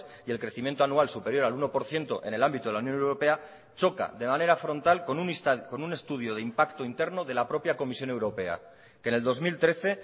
y el crecimiento anual superior al uno por ciento en el ámbito de la unión europea choca de manera frontal con un estudio de impacto interno de la propia comisión europea que en el dos mil trece